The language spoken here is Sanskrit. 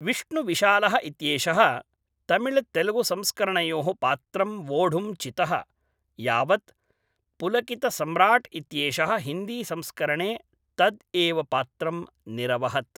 विष्णुविशालः इत्येषः तमिळ्तेलुगुसंस्करणयोः पात्रं वोढुं चितः, यावत् पुलकितसम्राट् इत्येषः हिन्दीसंस्करणे तद् एव पात्रं निरवहत्